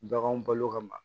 Baganw balo ka ma